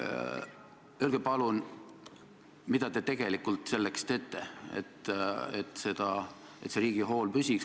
Öelge palun, mida te tegelikult teete selleks, et riigi hool püsiks.